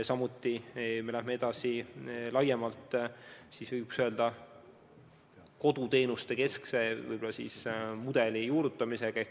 Samuti me läheme edasi laiemalt koduteenuste keskse mudeli juurutamisega.